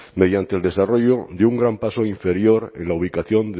mediante el desarrollo de un gran paso inferior en la ubicación